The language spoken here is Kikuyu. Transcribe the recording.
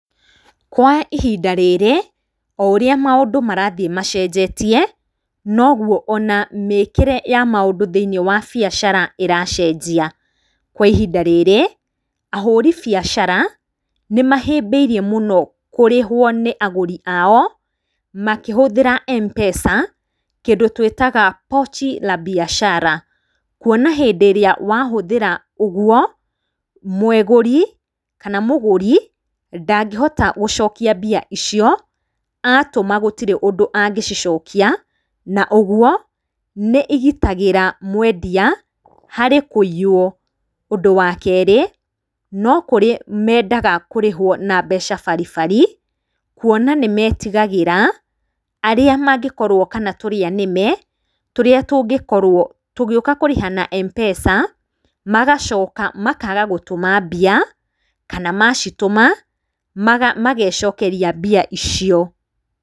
Kwa ihinda rĩrĩ, o ũrĩa maũndũ marathiĩ macenjetie, noguo ona mĩkĩre ya maũndũ thĩiniĩ wa biacara ĩracenjia. Kwa ihinda rĩrĩ, ahũri biacara nĩ mahĩmbĩirie mũno kũrĩhwo nĩ agũri ao, makĩhũthĩra MPESA, kĩndũ tũĩtaga Pochi La Biashara. Kuona hĩndĩ ĩrĩa wahũthĩra ũguo, mũgũri kana mũgũri, ndangĩhota gũcokia mbia icio, atũma gũtirĩ ũndũ angĩcicokia, na ũguo nĩ igitagĩra mwendia harĩ kũiywo. Ũndũ wa kerĩ, no kũrĩ mendaga kũrĩhwo na mbeca baribari, kuona nĩ metigagĩra arĩa mangĩkorwo kana tũrĩa-nĩme tũrĩa tũngĩkorwo tũgĩũka kũrĩha na MPESA, magacoka makaga gũtũma mbia, kana macitũma, magecokeria mbia icio.